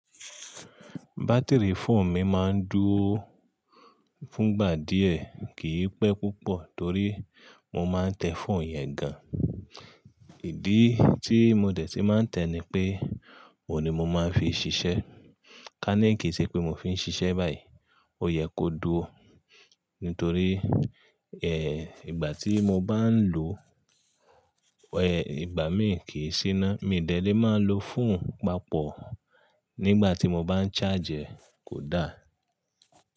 Batiri fóònù mi máa ń dúró fúngbà díẹ̀, kì í pẹ́ púpọ̀ torí mo máa ń tẹ fóònù yẹn gan. Ìdí tí mo tẹ̀ tí máa ń tẹ ni pé, òun ni mo máa ń fi ṣiṣẹ́. Ká ní kì í ṣe pé mo fi ń ṣiṣẹ́ báyìí, ó yẹ kó dúró. Nítorí, ìgbà tí mo bá ń lò, ẹ́, ìgbà míì kì í ṣíná. Mi o dédé máa ń lò fún papọ̀ nígbà tí mo bá ń charge ẹ́, kò da.